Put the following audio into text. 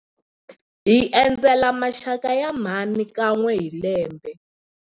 Hi endzela maxaka ya mhani kan'we hi lembe.